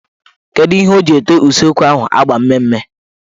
Kedu ihe o ji ete useekwu ahụ agba mmee mme.